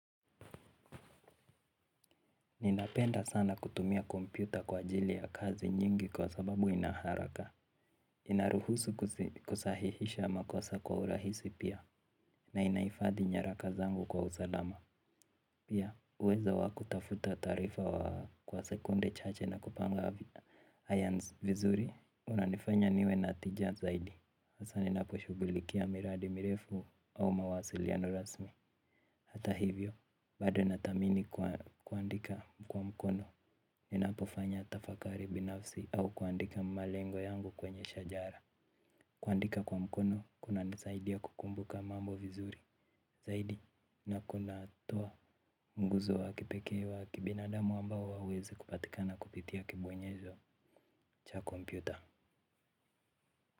Ninapenda sana kutumia kompyuta kwa ajili ya kazi nyingi kwa sababu ina haraka. Inaruhusu kusahihisha makosa kwa urahisi pia. Na inahifadhi nyaraka zangu kwa usalama. Pia, uweza wa kutafuta taarifa kwa sekunde chache na kupanga iron vizuri unanifanya niwe na tija zaidi hasa ninaposhughulikia miradi mirefu au mawasiliano rasmi. Hata hivyo bado nathamini kuandika kwa mkono. Ninapofanya tafakari binafsi au kuandika malengo yangu kwenye shajara. Kuandika kwa mkono kuna nisaidia kukumbuka mambo vizuri. Zaidi, na kuna toa nguzo wa kipekee wa kibinadamu ambao hauwezi kupatikana kupitia kibwenyezo cha kompyuta.